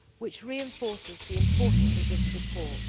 This reinforces the importance of this report.